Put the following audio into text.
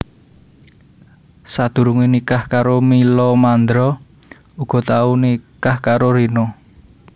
Sadurungé nikah karo Mila Mandra uga tau nikah karo Rina